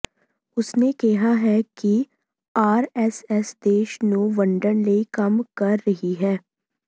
ਉਸਨੇ ਕਿਹਾ ਹੈ ਕਿ ਆਰਐਸਐਸ ਦੇਸ਼ ਨੂੰ ਵੰਡਣ ਲਈ ਕੰਮ ਕਰ ਰਹੀ ਹੈ